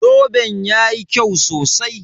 Zoben yayi kyau sosai